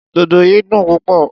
Dodo yìí dùn púpọ̀.